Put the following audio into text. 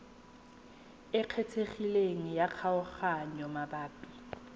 e kgethegileng ya kgaoganyo mabapi